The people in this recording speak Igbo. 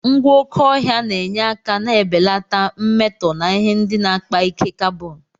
Ngwa oké ọhịa na-enye aka na-ebelata mmetọ na ihe ndị na-akpa ike carbon.